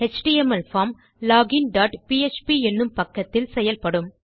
HTML form login dot PHP என்னும் பக்கத்தில் செயல்படும்